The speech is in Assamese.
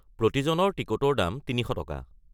প্ৰতিজনৰ টিকটৰ দাম ৩০০টকা।